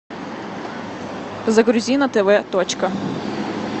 загрузи на тв точка